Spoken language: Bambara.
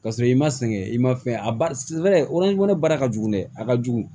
Ka sɔrɔ i ma sɛgɛn i ma fɛn a ne baara ka jugu dɛ a ka jugu